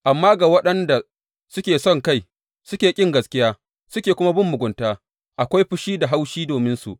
Amma ga waɗanda suke sonkai waɗanda suke ƙin gaskiya suke kuma bin mugunta, akwai fushi da haushi dominsu.